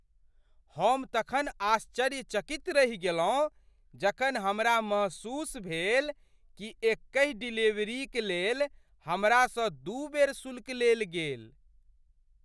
हम तखन आश्चर्यचकित रहि गेलहुँ जखन हमरा महसूस भेल कि एकहि डिलीवरीक लेल हमरासँ दुइ बेर शुल्क लेल गेल!